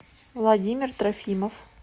владимир трофимов